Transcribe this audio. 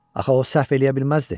Axı o səhv eləyə bilməzdi.